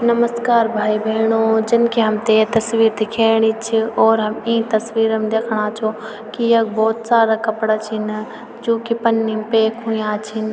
नमस्कार भाई-भेणाे जन की हमथे ये तस्वीर दिखेणी च और हम ईं तस्वीर म दिखणा छों की यख भोत सारा कपड़ा छिन जू की पन्नी म पैक हुयां छिन।